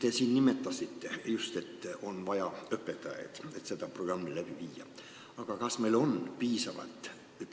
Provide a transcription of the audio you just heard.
Te nimetasite just, et selle programmi läbiviimiseks on vaja õpetajaid.